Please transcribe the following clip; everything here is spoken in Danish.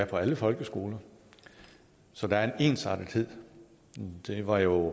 på alle folkeskoler så der er en ensartethed det var jo